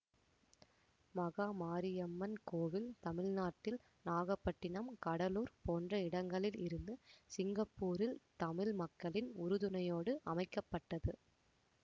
மகா மாரியம்மன் கோவில் தமிழ்நாட்டில் நாகப்பட்டினம் கடலூர் போன்ற இடங்களில் இருந்து சிங்கப்பூரில் தமிழ் மக்களின் உறுதுணையோடு அமைக்க பட்டது